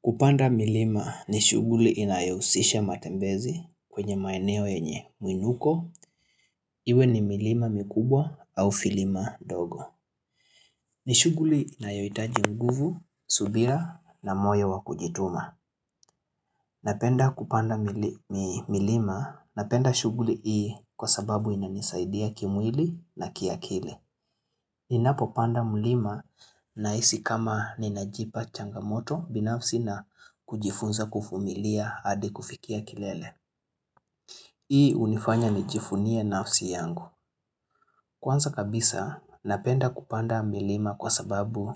Kupanda milima ni shughuli inayohusisha matembezi kwenye maeneo yenye mwinuko, iwe ni milima mikubwa au vilima ndogo. Ni shughuli inayohitaji nguvu, subira na moyo wa kujituma. Napenda kupanda milima napenda shughuli hii kwa sababu inanisaidia kimwili na kiakili. Ninapopanda mlima nahisi kama ninajipa changamoto binafsi na kujifunza kuvumilia hadi kufikia kilele. Hii hunifanya nijivunie nafsi yangu. Kwanza kabisa napenda kupanda milima kwa sababu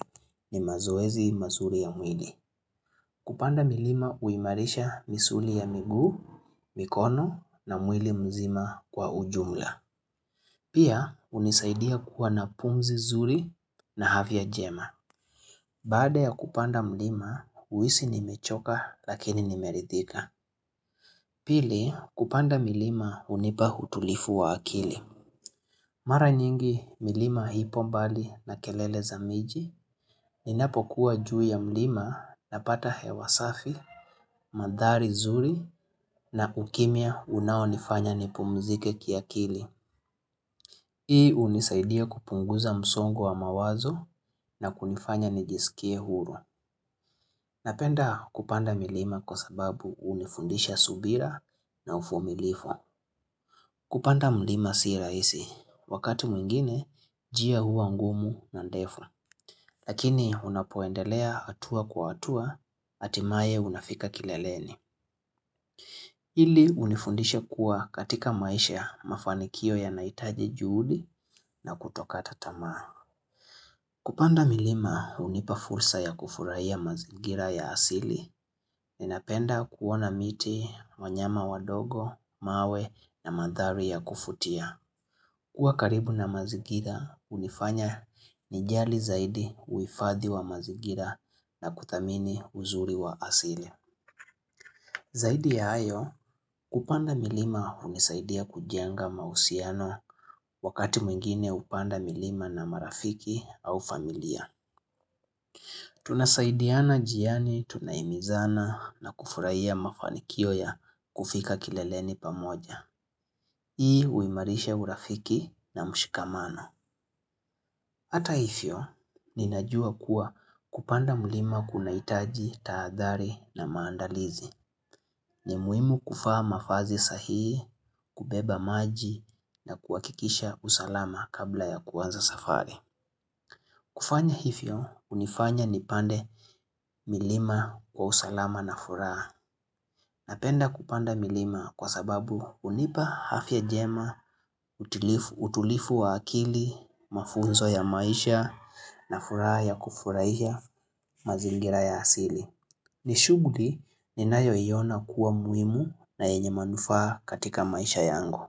ni mazoezi mazuri ya mwili. Kupanda milima huimarisha misuli ya miguu, mikono na mwili mzima kwa ujumla. Pia hunisaidia kuwa na pumzi zuri na afya jema. Baada ya kupanda mlima, uhisi nimechoka lakini nimeridhika. Pili, kupanda milima hunipa utulivu wa akili. Mara nyingi milima ipo mbali na kelele za miji. Ninapokua juu ya mlima napata hewa safi, madhari zuri na ukimya unaonifanya nipumzike kiakili. Hii hunisaidia kupunguza msongo wa mawazo na kunifanya nijisikie huru. Napenda kupanda milima kwa sababu hunifundisha subira na uvumilivu. Kupanda mlima si rahisi, wakati mwingine njia hua ngumu na ndefu. Lakini unapoendelea hatua kwa hatua, hatimae unafika kileleni. Hili hunifundisha kuwa katika maisha ya mafanikio yanaitaji juhudi na kutokata tamaa. Kupanda milima hunipa fursa ya kufurahia mazingira ya asili. Ninapenda kuona miti, wanyama wadogo, mawe na mandhari ya kuvutia. Kua karibu na mazingira, hunifanya nijali zaidi uhifadhi wa mazingira na kuthamini uzuri wa asili. Zaidi ya hayo, kupanda milima hunisaidia kujenga mahusiano wakati mwingine uhpanda milima na marafiki au familia. Tunasaidiana njiani tunahimizana na kufurahia mafanikio ya kufika kileleni pamoja. Hii huimarisha urafiki na mshikamano. Hata hivyo, ninajua kuwa kupanda mlima kunahitaji taadhari na maandalizi. Ni muhimu kuvaa mavazi sahihi, kubeba maji na kuhakikisha usalama kabla ya kuanza safari. Kufanya hivyo, hunifanya nipande milima kwa usalama na furaha. Napenda kupanda milima kwa sababu hunipa afya jema, utulivu wa akili, mafunzo ya maisha na furaha ya kufurahia mazingira ya asili. Ni shughuli ninayoiona kuwa muhimu na yenye manufaa katika maisha yangu.